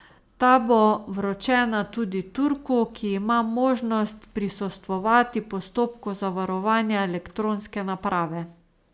Ta bo vročena tudi Turku, ki ima možnost prisostvovati postopku zavarovanja elektronske naprave.